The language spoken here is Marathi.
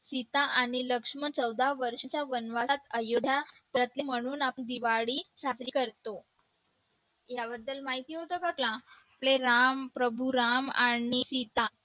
सीता आणि लक्ष्मण चौदा वर्षाच्या वनवासात अयोध्या परतले म्हणून आपण दिवाळी साजरी करतो याबद्दल माहिती होतं का तुला आपले राम प्रभू राम आणि सीता